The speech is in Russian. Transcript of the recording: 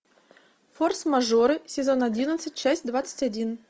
форс мажоры сезон одиннадцать часть двадцать один